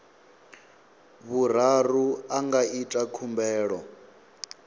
vhuraru a nga ita khumbelo